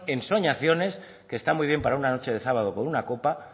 ensoñaciones que está muy bien para una noche de sábado con una copa